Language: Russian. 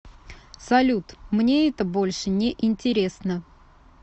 салют мне это больше не интересно